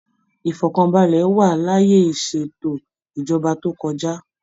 Ifọkanbalẹ wa l'ayé iseètò ìjọba tó kọjá.